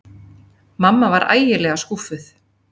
Mamma var ægilega skúffuð.